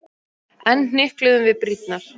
Enn hnykluðum við brýnnar.